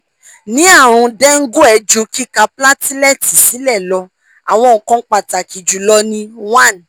ni arun dengue ju kika platelet silẹ lọ awọn nkan pataki julọ ni one